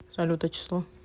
салют а число